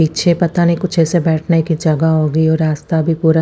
पीछे पता नी कुछ ऐसे बेठने कि जगह होगी और रास्ता भी पूरा--